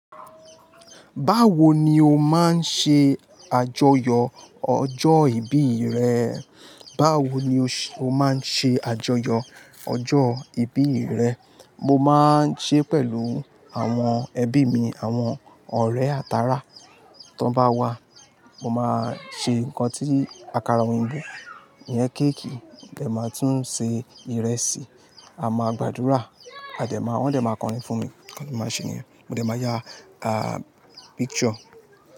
Báwo ni o máa ń ṣe àjọyọ̀ ọjọ́ ìbí rẹ? Báwo ni o ṣe, o máa ń ṣe àjọyọ̀ ọjọ́ ìbí rẹ? Mo máa ń ṣe pẹ̀lú àwọn ẹbí mi, àwọn ọ̀rẹ́ àtàrà tó bá wà. Mo máa ṣe nǹkan tí akara oyinbo iyen gbìn, ìyẹn kéèkì, ó gẹ́ máa tún ṣe ìrẹsì, a máa gbàdúrà a jẹ máa, wọ́n dẹ̀ máa kọrin fún mi, mo sì máa ṣe ni, mo dẹ̀ máa ya, à, picture.